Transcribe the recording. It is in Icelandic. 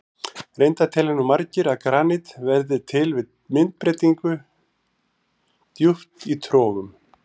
Reyndar telja nú margir að granít verði til við myndbreytingu djúpt í trogum.